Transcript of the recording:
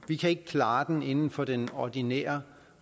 vi kan ikke klare den inden for den ordinære